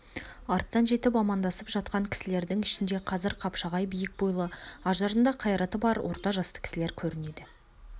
арттан жетіп амандасып жатқан кісілердің ішінде қазір қапшағай биік бойлы ажарында қайраты бар орта жасты кісілер көрінеді